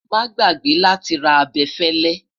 má gbàgbé láti rà abefele